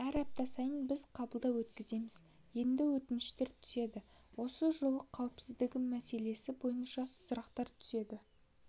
әр апта сайын біз қабылдау өткіземіз енді өтініштер түседі осы жол қауіпсіздігі мәселесі бойынша сұрақтар түседі